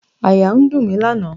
Àyà ń dùn mí lánàá.